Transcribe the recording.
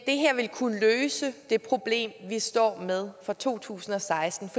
det her vil kunne løse det problem vi står med for to tusind og seksten